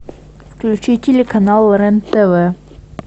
включи телеканал рен тв